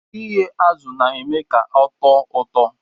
Ighe azu na eme ka ọtọ ụtọ.